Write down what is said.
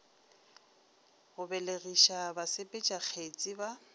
go belegiša basepetša kgetsi ba